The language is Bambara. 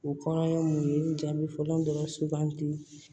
O kɔnɔ ye mun ye jaabi fɔlɔ dɔrɔn sugandi